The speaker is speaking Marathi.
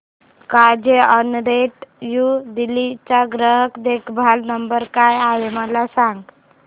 कार्झऑनरेंट न्यू दिल्ली चा ग्राहक देखभाल नंबर काय आहे मला सांग